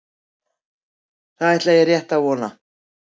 Það ætla ég rétt að vona.